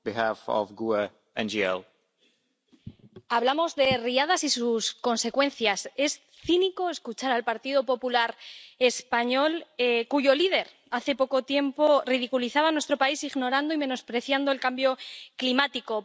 Señor presidente, hablamos de riadas y sus consecuencias. Es cínico escuchar al Partido Popular español, cuyo líder, hace poco tiempo, ridiculizaba a nuestro país ignorando y menospreciando el cambio climático